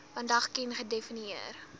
vandag ken gedefinieer